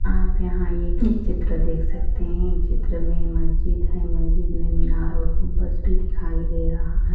आप यहा एक निक चित्र देख सकते है इस चित्र मे मस्जिद है मस्जिद मे मीनार और कुंबस भी दिखाई दे रहा है।